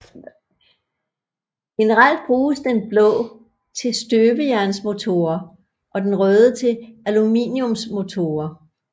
Generelt bruges den blå til støbejernsmotorer og den røde til aluminiumsmotorer